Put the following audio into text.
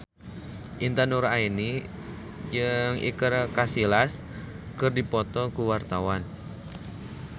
Intan Nuraini jeung Iker Casillas keur dipoto ku wartawan